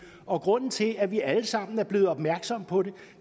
og grunden til at vi alle sammen er blevet opmærksomme på